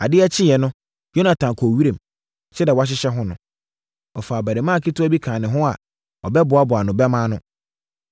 Ade kyeeɛ no, Yonatan kɔɔ wiram. Sɛdeɛ wɔahyehyɛ ho no. Ɔfaa abarimaa ketewa bi kaa ne ho a ɔbɛboaboa ne bɛmma ano.